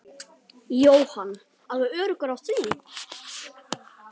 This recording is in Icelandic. Jóhann: Alveg öruggur á því?